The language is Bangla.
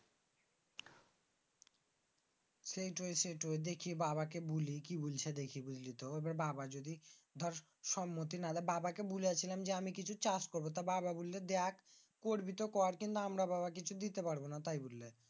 সেইট সেইট দেখি বাবাকে বলি। বলসি দেখি বুঝলিতো বাবা যদি দর সম্মতি না দেয়। বাবাকে বলিছিলাম আমি কিছু চাষ করব। তা বাবা বলল দেখ করবি তো কর কিন্তু আমরা বাবা কিছু দিতে পারবোনা বললে।